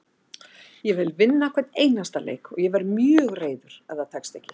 Ég vil vinna hvern einasta leik og verð mjög reiður ef það tekst ekki.